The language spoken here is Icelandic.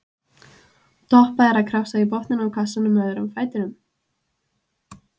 Doppa er að krafsa í botninn á kassanum með öðrum fætinum.